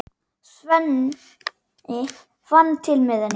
Sveinn fann til með henni.